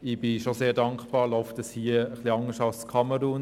Ich bin schon sehr dankbar, dass es hier etwas anders läuft als in Kamerun.